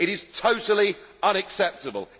It is totally unacceptable.